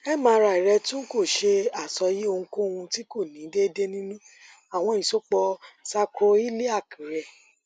mri rẹ tun ko ṣe asọye ohunkohun ti ko ni deede ninu awọn isopọ sakroiliac rẹ